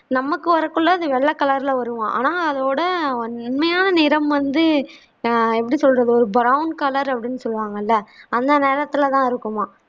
நமக்கு வரகொல அது வெள்ள கலர்ல வருமாம் ஆனா அதோட உண்மையான நிறம் வந்து ஆஹ் எப்படி சொல்றது ஒரு brown color அப்பிடின்னு சொல்லுவாங்கல்ல அந்த நிறத்தில் தான் இருக்குமாம்